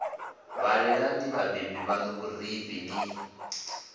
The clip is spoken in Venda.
ṅwalelani vhabebi vhaṋu vhurifhi ni